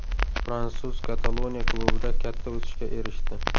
Fransuz Kataloniya klubida katta o‘sishga erishdi.